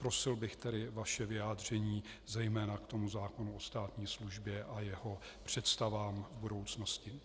Prosil bych tedy vaše vyjádření zejména k tomu zákonu o státní službě a jeho představám v budoucnosti.